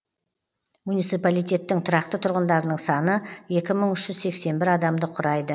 муниципалитеттің тұрақты тұрғындарының саны екі мың үш жүз сексен бір адамды құрайды